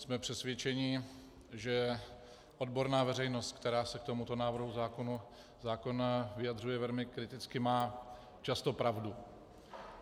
Jsme přesvědčeni, že odborná veřejnost, která se k tomuto návrhu zákona vyjadřuje velmi kriticky, má často pravdu.